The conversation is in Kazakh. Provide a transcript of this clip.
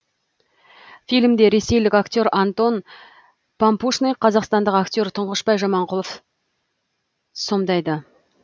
фильмде ресейлік актер антон пампушный қазақстандық актер тұнғышбай жаманқұлов сомдайды